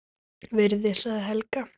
Virði sagði Helga.